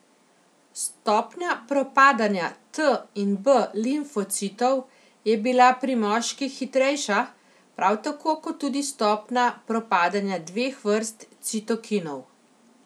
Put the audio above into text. Stopnja propadanja T in B limfocitov je bila pri moških hitrejša, prav tako kot tudi stopnja propadanja dveh vrst citokinov.